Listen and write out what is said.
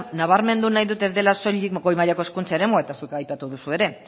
nabarmen dut nahi dute ez dela soilik goi mailako hezkuntza eremua eta zuk aipatu duzu ere